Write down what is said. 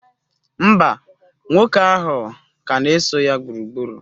Mba, nwoke ahụ ka na-eso ya gburugburu.